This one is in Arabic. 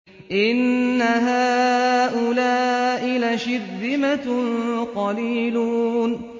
إِنَّ هَٰؤُلَاءِ لَشِرْذِمَةٌ قَلِيلُونَ